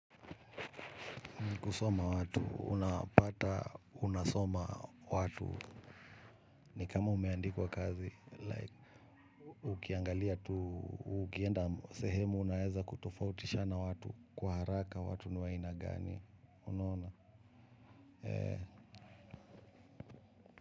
Kusoma watu, unapata, unasoma watu. Ni kama umeandikwa kazi, like. Ukiangalia, tu ukienda sehemu, unaeza kutofautisha na watu. Kwa haraka watu ni wa aina gani, unona.